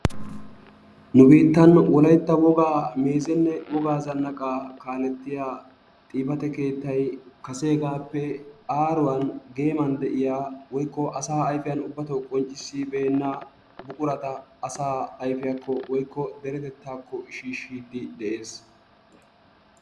Nu biittan wolaytta wogaa meezenne wogaa zannaqaa kaalettiya xifate keettay kaseegaappe aaruwan geeman de'iya woykko asaa ayifiyan ubbatoo qonccissibeenna buqurata asaa ayifiyakko woyikko deretettaakko shiishshiiddi de'es.